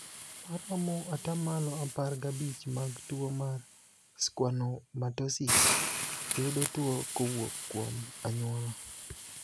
Maromo atamalo apar gabich mag tuo mar schwannomatosis yudo tuo kowuok kuom anyuola.